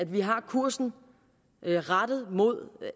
vi har kursen rettet mod